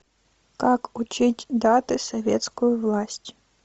как учить даты советскую власть